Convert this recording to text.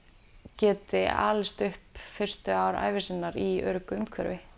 geti alist upp fyrstu ár ævi sinnar í öruggu umhverfi